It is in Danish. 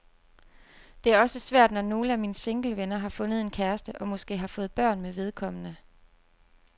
Det er også svært, når nogle af mine singlevenner har fundet en kæreste og måske har fået børn med vedkommende.